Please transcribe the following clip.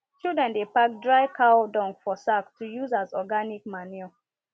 children dey pack dry cow dung for sack to use as organic manure